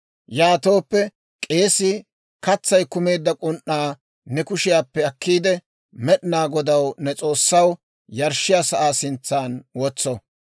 «Yaatooppe k'eesii katsay kumeedda k'un"aa ne kushiyaappe akkiide, Med'inaa Godaw, ne S'oossaw yarshshiyaa sa'aa sintsan wotso.